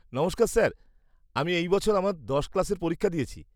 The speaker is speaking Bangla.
নমস্কার স্যার, আমি এই বছর আমার দশ ক্লাসের পরীক্ষা দিয়েছি।